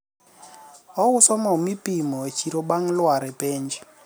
ouso mo mipimo e chiro bang' lwar e penj